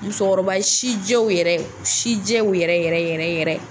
Musokɔrɔba sijɛw yɛrɛ sijɛw yɛrɛ yɛrɛ yɛrɛ.